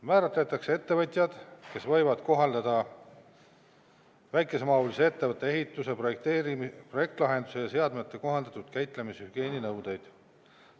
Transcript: Määratletakse ettevõtjad, kes võivad kohaldada väikesemahulise ettevõtte ehituse, projektlahenduse ja seadmete kohandatud käitlemise hügieeninõudeid.